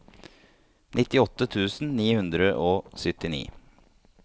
nittiåtte tusen ni hundre og syttini